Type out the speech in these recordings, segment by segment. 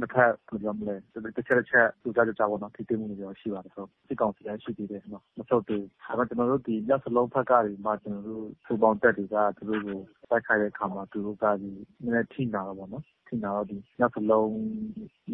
နှစ်ဖက် ဘယ်လိုပြောမလဲ တချက်တချက် ကြိုကြားကြိုကြားပေါ့နော်၊ ထိတွေ့မှုတွေတော့ ရှိဆဲဖြစ်ပါတယ် ဟုတ်။ စစ်ကောင်စီက ရှိသေးတယ်နော်… မဆုတ်သေးဘူး၊ ဒါပေမယ့် ကျနော်တို့ ဒီ မြောက်စလုံးဖက်ကနေပြီးမှ ကျနော်တို့ ပူးပေါင်းတပ်တွေက သူတို့ကို တိုက်ခိုက်တဲ့အခါမှာ သူတို့က နည်းနည်း အထိနာတာပေါ့နော်။ အထိနာတော့ မြောက်စလုံး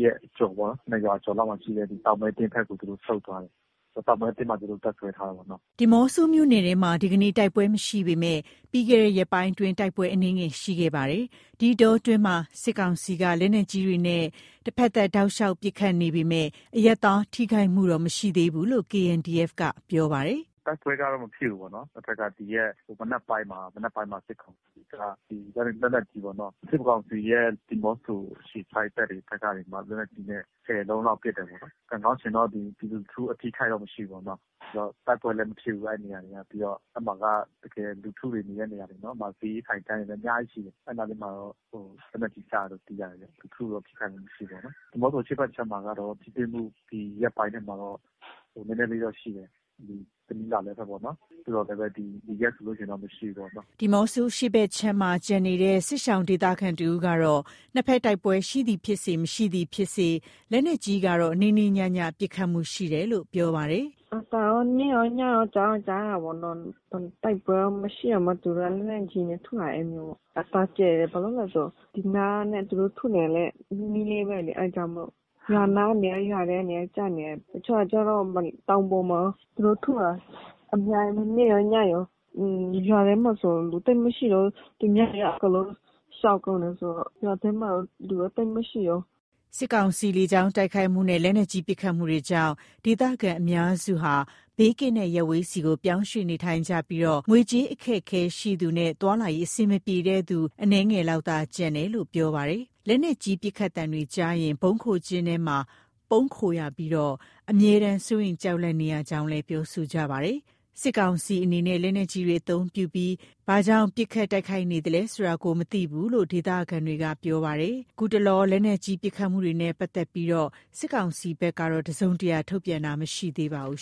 ရဲ့ အကျော်ပေါ့နော် နှစ်ရွာကျော်လောက်မှာရှိတဲ့ တောင်မဲ့သင်းဘက်ကို သူတို့ ဆုတ်သွားတယ်၊ တောင်မဲသင်းမှာ သူတို့တပ်စွဲတယ်ပေါ့နော်။” ဒီးမော့ဆိုမြို့နယ်ထဲမှာ ဒီကနေ့ တိုက်ပွဲမရှိပေမယ့် ပြီးခဲ့တဲ့ ရက်ပိုင်းအတွင်း တိုက်ပွဲအနည်းငယ်ရှိခဲ့ပါတယ်။ ဒီအတောအတွင်း စစ်ကောင်စီက လက်နက်ကြီးတွေနဲ့ တဖက်သတ် တောက်လျောက် ပစ်ခတ်နေပေမယ့် အရပ်သားထိခိုက်မှုတော့ မရှိသေးဘူးလို့ KNDF က ပြောပါတယ်။ “တိုက်ပွဲကတော့ မဖြစ်ဘူးပေါ့နော်၊ အဲ့ဘက်က ဒီရက်မနက်ပိုင်းမှာ စစ်ကောင်စီက ဒီလက်နက်ကြီးပေါ့နော်၊ စစ်ကောင်စီရဲ့ ဒီးမော့ဆို အခြေစိုက် တပ်တွေဘက်ကနေပြီးမှ လက်နက်ကြီးနဲ့ ၁၀ လုံးလောက် ပစ်တယ်ပေါ့နော်။ ကံကောင်းချင်တော့ ဒီ ပြည်သူလူထု အထိအခိုက်တော့ မရှိဘူးပေါ့နော်။ နောက်တိုက်ပွဲလည်း မဖြစ်ဘူး အဲ့နေရာတွေက။ ပြီးတော့ အဲ့မှာက တကယ်လူထုတွေ နေတဲ့နေရာတွေနော်။ အဲ့နားတွေမှာတော့ လက်နက်ကြီးကျတယ်လို့ သိရတယ်ဗျ။ လူထုတော့ ထိခိုက်မှုမရှိဘူးပေါ့နော်။ ဒီးမော့ဆိုအရှေ့ဖက်ခြမ်းမှာကတော့ ထိတွေ့မှု ဒီရက်ပိုင်းထဲမှာတော့ နည်းနည်းလေးတော့ရှိတယ်။ တနီးလားလဲဘက်ပေါ့နော်၊ သို့သော်လည်းပဲ ဒီရက်ဆိုလို့ရှိရင် မရှိဘူးပေါ့နော်။” ဒီးမော့ဆို အရှေ့ဖက်ခြမ်းမှာ ကျန်ရှိနေတဲ့ စစ်ရှောင် ဒေသခံတဦးကတော့ နှစ်ဖက်တိုက်ပွဲ ရှိသည်ဖြစ်စေ၊ မရှိသည်ဖြစ်စေ လက်နက်ကြီးကတော့ နေ့နေ့ညည ပစ်ခတ်မှုရှိနေတယ်လို့ ပြောပါတယ်။ “အသံတော့ နေ့ရောညရော ကြားတော့ကြားရတယ်ပေါ့နော်။ တိုက်ပွဲက မရှိတောင်မှ သူတို့က လက်နက်ကြီးနဲ့ ထုလာတယ် အဲ့လိုပေါ့။ အသံကျယ်တယ်။ ဘာလို့လဲဆို ဒီနားနဲ့ သူတို့ထုနေတာနဲ့ နီးနီးလေးပဲလေ၊ အဲ့ဒါကြောင့်မို့ အဲ့နား ရွာထဲတွေ ကျနေတယ်။ တချို့ကျတော့ တောင်ပေါ်မှာရော သူတို့ထုတာ အများကြီးပဲ။ နေ့ရော ညရော၊ ရွာထဲမှာဆို လူသိပ်မရှိတော့ဘူး။ သူများတွေက အကုန်လုံး ရှောင်ကုန်းတယ်ဆိုတော့ ရွာထဲမှာတော့ လူတော့ သိပ်မှရှိတော့ဘူး။” စစ်ကောင်စီရဲ့ လေကြောင်းတိုက်ခိုက်မှုနဲ့ လက်နက်ကြီး ပစ်ခတ်မှုတွေကြောင့် ဒေသခံ အများစုက ဘေးကင်းတဲ့ ရပ်ဝေးဆီ ပြောင်းရွှေ့နေထိုင်ကြပြီး ငွေကြေးအခက်အခဲရှိသူနဲ့ သွားလာရေး အဆင်မပြေတဲ့သူ အနည်းငယ်လောက်သာ ကျန်ရှိနေတယ်လို့ ပြောပါတယ်။ လက်နက်ကြီးပစ်ခတ်သံတွေကြားရရင် ဗုံးခိုကျဉ်းထဲမှာ ပုန်းခိုနေကြရပြီး အမြဲတမ်း စိုးရိမ် ကြောက်လန့်နေရကြောင်း ပြောဆိုပါတယ်။ စစ်ကောင်စီအနေနဲ့ လက်နက်ကြီးတွေ အသုံးပြုပြီး ဦးတည်ရာမရှိ ဘာကြောင့် ပစ်ခတ်တိုက်ခိုက်နေသလဲဆိုတာ မသိဘူးလို့ ဒေသခံတွေက ပြောပါတယ်။ ခုတတလော လက်နက်ကြီးပစ်ခတ်မှုတွေနဲ့ ပတ်သက်လို့ စစ်ကောင်စီဘက်က တစုံတရာ ထုတ်ပြန်တာ မရှိသေးပါဘူး